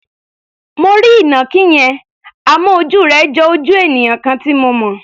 Mo rí ìnàkí yẹn, àmọ́ ojú rẹ̀ jo ojú ènìyàn kan tí mo mọ̀.